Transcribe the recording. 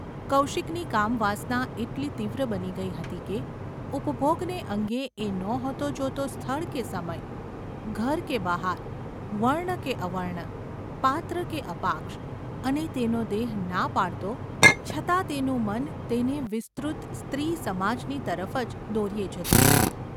કૌશિકની કામવાસના એટલી તીવ્ર બની ગઈ હતી કે ઉપભોગને અંગે એ નહોતો જોતો સ્થળ કે સમય, ઘર કે બહાર, વર્ણ કે અવર્ણ, પાત્ર કે અપાક્ષ, અને તેનો દેહ ના પાડતો છતાં તેનું મન તેને વિસ્તૃત સ્ત્રી સમાજની તરફ જ દોર્યે જતું હતું.